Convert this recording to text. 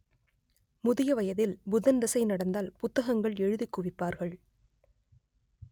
முதிய வயதில் புதன் தசை நடந்தால் புத்தகங்கள் எழுதிக் குவிப்பார்கள்